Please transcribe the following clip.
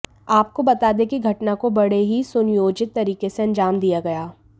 आपको बता दें कि घटना को बड़े ही सुनियोजित तरीके से अंजाम दिया गया